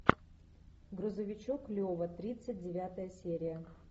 грузовичок лева тридцать девятая серия